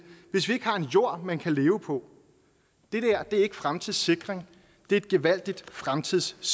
hvis vi ikke har en jord man kan leve på det dér er ikke fremtidssikring det er et gevaldigt fremtidssvigt